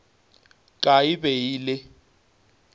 ka e be e le